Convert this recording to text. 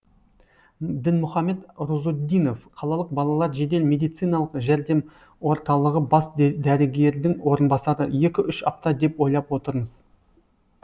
дінмұхамед рузуддинов қалалық балалар жедел медициналық жәрдеморталығы бас дәрігердің орынбасары екі үш апта деп ойлап отырмыз